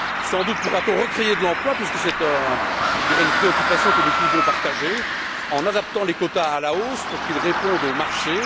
Sans doute pourra t on recréer de l'emploi parce que c'est, je dirais, une préoccupation que nous pouvons partager en adaptant les quotas à la hausse pour qu'ils répondent au marché.